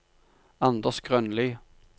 Anders Grønli